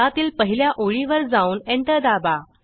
त्यातील पहिल्या ओळीवर जाऊन एंटर दाबा